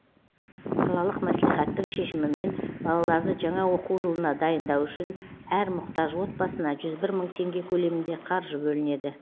қалалық мәслихаттың шешімімен балаларды жаңа оқу жылына дайындау үшін әр мұқтаж отбасына жүз бір мың теңге көлемінде қаржы бөлінеді